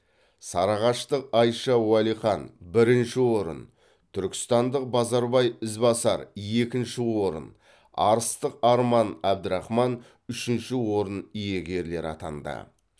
сарыағаштық айша уалихан бірінші орын түркістандық базарбай ізбасар екінші орын арыстық арман абдрахман үшінші орын иегерлері атанды